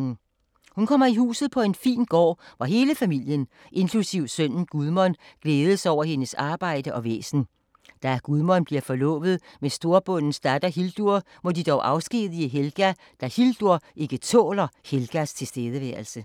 Hun kommer i huset på en fin gård, hvor hele familien, inklusiv sønnen Gudmund, glædes over hendes arbejde og væsen. Da Gudmund bliver forlovet med en storbondes datter, Hildur, må de dog afskedige Helga, da Hildur ikke tåler Helgas tilstedeværelse.